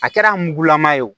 A kɛra mugulama ye o